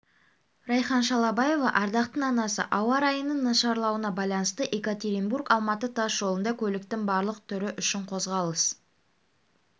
райхан шалабаева ардақтың анасы ауа райының нашарлауына байланысты екатеринбург-алматы тас жолында көліктің барлық түрі үшін қозғалыс